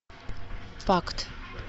пакт